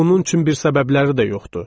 Bunun üçün bir səbəbləri də yoxdur.